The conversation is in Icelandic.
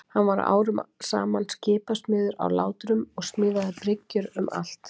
Hann var árum saman skipasmiður í Látrum og smíðaði bryggjur um allt land.